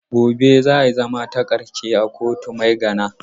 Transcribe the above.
Gobe za a yi zama takarshe a kotun Maigana.